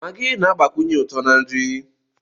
Maagị na-agbakwunye uto na nri.